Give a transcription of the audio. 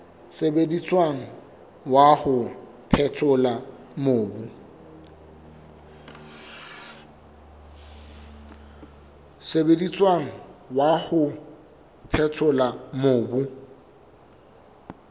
sebediswang wa ho phethola mobu